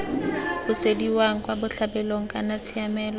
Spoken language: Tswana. busediwang kwa botlhabelong kana tshiamelo